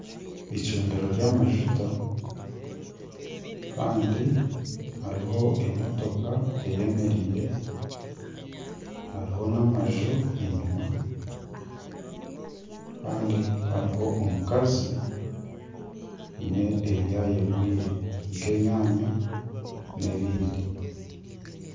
Eicundiro ry'amajuta Kandi hariho emotoka eyemereire hariho n'amaju enyima Kandi hariho omukazi aine ebi ayegwire nk'enyaanya nana ebindi.